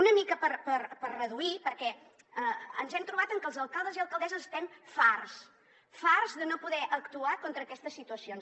una mica per reduir perquè ens hem trobat que els alcaldes i alcaldesses estem farts farts de no poder actuar contra aquestes situacions